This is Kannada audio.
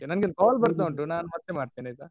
ನಂಗೊಂದು call ಬರ್ತಾ ಇದೆ ಮತ್ತೆ ಮಾಡ್ತೇನೆ ಆಯ್ತಾ.